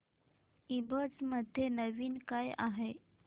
ईबझ मध्ये नवीन काय आहे